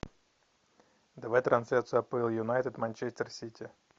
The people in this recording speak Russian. давай трансляцию апл юнайтед манчестер сити